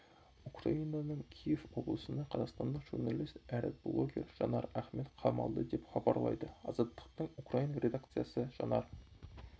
украинаның киев облысында қазақстандық журналист әрі блогер жанар ахмет қамалды деп хабарлайды азаттықтың украин редакциясы жанар